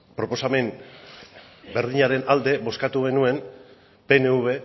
proposamen berdinaren alde bozkatu genuen pnv